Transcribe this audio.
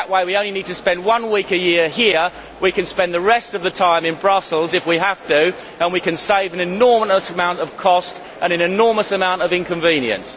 That way, we only need to spend one week a year here. We can spend the rest of the time in Brussels if we have to, and we can save an enormous amount of cost and an enormous amount of inconvenience.